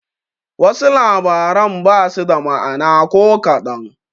Wasu labaran basu da ma'ana ko kaɗan.